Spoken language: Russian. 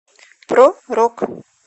про рок